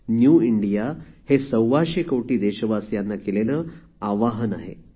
new India हे सव्वाशे कोटी देशवासियांना केलेले आवाहन आहे